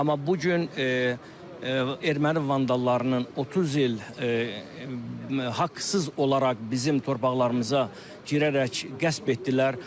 Amma bu gün erməni vandallarının 30 il haqsız olaraq bizim torpaqlarımıza girərək qəsb etdilər.